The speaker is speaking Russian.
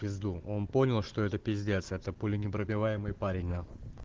в пизду он понял что это пиздец это пуленепробиваемый парень нахуй